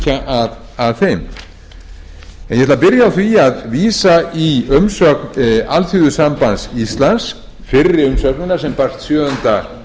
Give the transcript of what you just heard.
ætla að byrja á því að vísa í umsögn alþýðusambands íslands fyrri umsögnina sem barst sjöunda